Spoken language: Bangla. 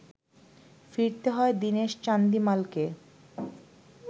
ফিরতে হয় দীনেশ চান্দিমালকে